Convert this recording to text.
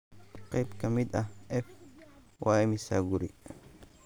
qayb ka mid ah f. Waa imisa guri?